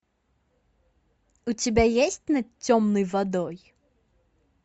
у тебя есть над темной водой